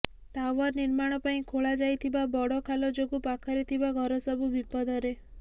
tower ନିର୍ମାଣ ପାଇଁ ଖୋଳା ଯାଇଥିବା ବଡ଼ ଖାଲ ଯୋଗୁ ପାଖରେ ଥିବା ଘର ସବୁ ବିପଦରେ